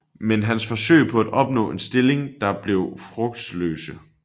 Men hans forsøg på at opnå en stilling der blev frugtesløse